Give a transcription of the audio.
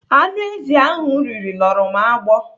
Anụ ezi ahụ m riri luru m agbọ.